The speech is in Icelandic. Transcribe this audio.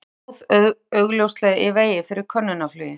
Tvennt stóð augljóslega í vegi fyrir könnunarflugi